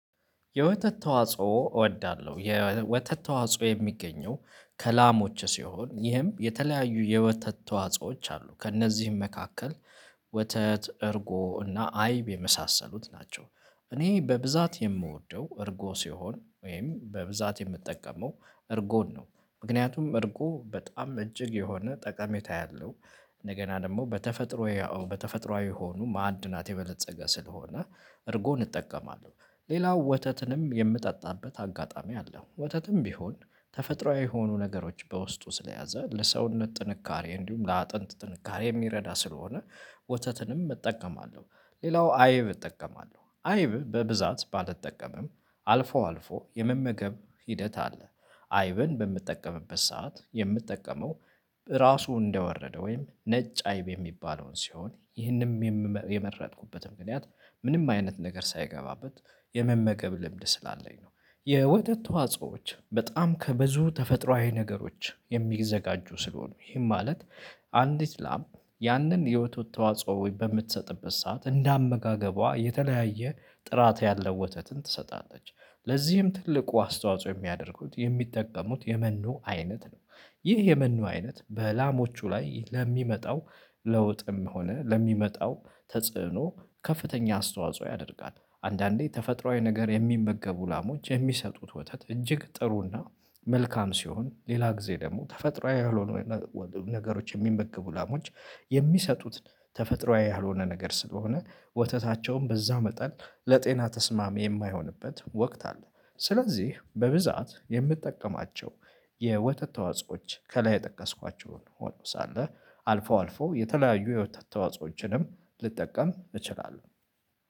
የወተት ተዋጽኦ እወዳለሁ የወተት ተዋጽኦ የሚገኘው ከላሞች ሲሆን ይህም የተለያዩ የወተት ተዋጾዎች አሉ ከእነዚህም መካከል ወተት እርጎ እና አይብ የመሳሰሉት ናቸው። እኔ በብዛት የምወደው እርጎ ሲሆን ወይም በብዛት የምጠቀመው እርጎን ነው ምክንያቱም እርጎ በጣም እጅግ የሆነ ጠቀሜታ ያለው እንደገና ደግሞ በተፈጥሮዬ በተፈጥሮአዊ የሆኑ ማዕድናት የበለፀገ ስለሆነ እርጎን እጠቀማለሁ። ሌላው ወተትንም የምጠጣበት አጋጣሚ አለው ወተትም ቢሆን ተፈጥሮአዊ የሆኑ ነገሮች በውስጡ ስለያዘ ለሰውነት ጥንካሬ እንዲሁም ለአጥንት ጥንካሬ የሚረዳ ስለሆነ ወተትንም እጠቀማለሁ። ሌላው አይብ እጠቀማለሁ አይብ በብዛት ባልጠቀምም አልፎ አልፎ የመመገብ ሂደት አለ። አይብን በምጠቀምበት ሰዓት የምጠቀመው ራሱ እንደወረደ ወይም ነጭ አይብ የሚባለውን ሲሆን ይህንም የመረጥኩበት ምክንያት ምንም አይነት ነገር ሳይገባበት የመመገብ ልምድ ስላለኝ ነው። የወተት ተዋጾዎች በጣም ከብዙ ተፈጥሮአዊ ነገሮች የሚዘጋጁ ስለሆኑ ይሄም ማለት አንዲት ላም ያንን የወተት ተዋጽኦ በምትሰጥበት ሰዓት እንደ አመጋገቧ የተለያየ ጥራት ያለው ወተትን ትሰጣለች። ለዚህም ትልቁ አስተዋጽኦ የሚያደርጉት የሚጠቀሙት የመኖ አይነት ነው። ይህ የመኖ አይነት በላሞቹ ላይ ለሚመጣው ለውጥም ሆነ ለሚመጣው ተጽዕኖ ከፍተኛ አስተዋጽኦ ያደርጋል። አንዳንዴ ተፈጥሮአዊ ነገር የሚመገቡ ላሞች የሚሰጡት ወተት እጅግ ጥሩና። መልካም ሲሆን ሌላ ጊዜ ደግሞ ተፈጥሮአዊ ያልሆኑ ነገሮች የሚመገቡ ላሞች የሚሰጡት ተፈጥሮአዊ ያልሆነ ነገር ስለሆነ ወተታቸውም በዛው መጠን ለጤና ተስማሚ የማይሆንበት ወቅት አለ። ስለዚህ በብዛት የምጠቀማቸው የወተት ተዋጽኦዎች ከላይ የጠቀስኳቸውን ሆኖ ሳለ አልፈው አልፈው የተለያዩ የወተት ተዋጽኦዎችንም ልጠቀም እችላለሁ።